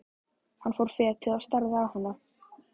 Hann fór fetið og starði á hana.